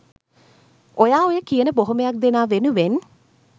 ඔයා ඔය කියන බොහොමයක් දෙනා වෙනුවෙන්.